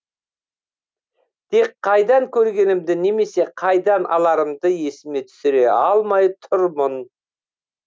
тек қайдан көргенімді немесе қайдан аларымды есіме түсіре алмай тұрмын